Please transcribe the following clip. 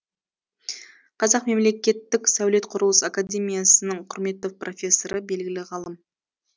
қазақ мемлекеттік сәулет құрылыс академиясының құрметті профессоры белгілі ғалым